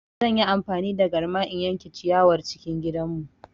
Zan yi amfani da garma in yanke ciyawar cikin gidanmu.